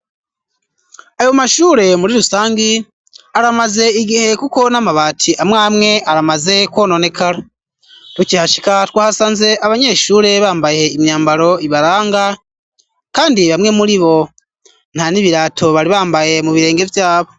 Ayo mashure muri rusangi aramaze igihekuko n'amabati amwamwe aramaze kwononekara ruki hashika twahasanze abanyeshure bambaye imyambaro ibaranga, kandi bamwe muri bo nta n'ibirato bari bambaye mu birenge vyabo.